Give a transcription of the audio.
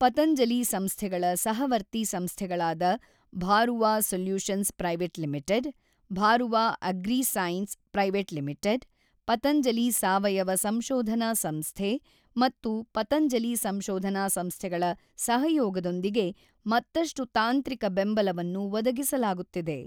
ಪತಂಜಲಿ ಸಂಸ್ಥೆಗಳ ಸಹವರ್ತಿ ಸಂಸ್ಥೆಗಳಾದ Bharuwa solutions private limited, Bharuwa agrisciences private limited, Patanjali ಸಾವಯವ ಸಂಶೋಧನಾ ಸಂಸ್ಥೆ ಮತ್ತು ಪತಂಜಲಿ ಸಂಶೋಧನಾ ಸಂಸ್ಥೆಗಳ ಸಹಯೋಗದೊಂದಿಗೆ ಮತ್ತಷ್ಟು ತಾಂತ್ರಿಕ ಬೆಂಬಲವನ್ನು ಒದಗಿಸಲಾಗುತ್ತಿದೆ.